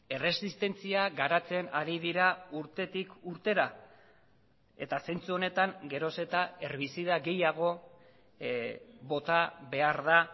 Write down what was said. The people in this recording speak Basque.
erresistentzia garatzen hari dira urtetik urtera eta zentzu honetan geroz eta herbizida gehiago bota behar da